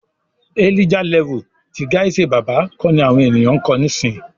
"Elijah level" ti Gaise Baba kọ ni àwọn ènìyàn ń kọ nísìyí.